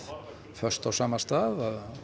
föst á sama stað